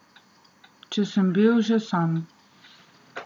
Če sem bil že sam.